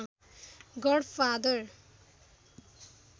God father